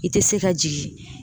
I tɛ se ka jigin